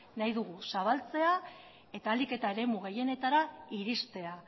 nahi dugu zabaltzea eta ahalik eta eremu gehienetara iristea